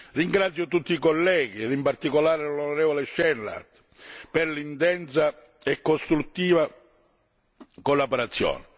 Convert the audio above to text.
Ringrazio tutti i colleghi, ed in particolare l'onorevole Schnellhardt, per l'intensa e costruttiva collaborazione.